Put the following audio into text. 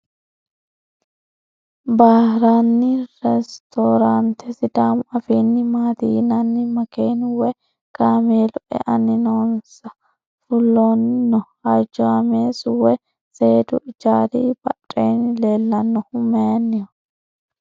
Baarinni restoorante sidaamu afiinni maati yinanni? Makeenu woyi kaameelu eanni noonso fulanni no? Hojjaameessu woyi seedu ijaari badheenni leellannohu mayiinniho?